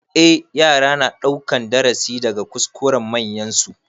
Eh, yara na ɗaukan darasi daga kuskuren manyansu.